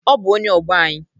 Ọ bụ onye ọgbọ anyị